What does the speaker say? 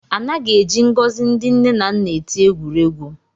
Anaghị eji ngọzi ndị nne na nna eti egwuregwu